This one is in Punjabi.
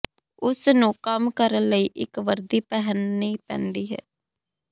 ਉਸਨੂੰ ਕੰਮ ਕਰਨ ਲਈ ਇੱਕ ਵਰਦੀ ਪਹਿਨਣੀ ਪੈਂਦੀ ਹੈ